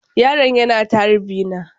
Yaron yana ta harbi na.